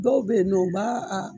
Dɔw bɛ yen nɔ o b'a a